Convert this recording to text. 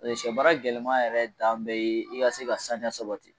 Ɛ sɛ maara gɛlɛman yɛrɛ dan ye i ka se ka saniya sabati